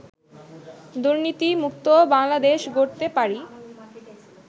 দুর্নীতিমুক্ত বাংলাদেশ গড়তে পারি